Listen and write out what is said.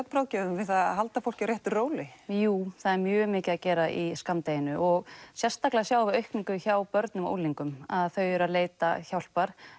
svefnráðgjöfum að halda fólki á réttu róli jú það er mjög mikið að gera í skammdeginu og sérstaklega sjáum við aukningu hjá börnum og unglingum að þau eru að leita hjálpar